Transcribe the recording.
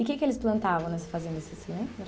E o que que eles plantavam nessa fazenda, você se lembra?